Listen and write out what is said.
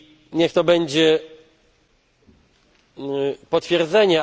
Niech to będzie potwierdzenie.